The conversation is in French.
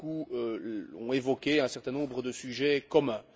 Beaucoup ont évoqué un certain nombre de sujets communs.